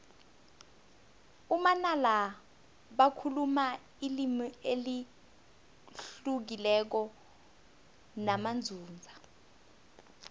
amanala bakhuluma ilimi elihlukileko namanzunza